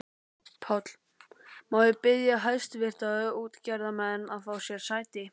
PÁLL: Má ég biðja hæstvirta útgerðarmenn að fá sér sæti.